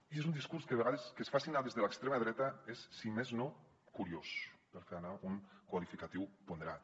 i és un discurs que a vegades que es faci anar des de l’extrema dreta és si més no curiós per fer anar un qualificatiu ponderat